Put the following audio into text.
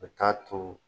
O t'a to